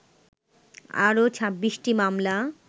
আরও ২৬টি মামলা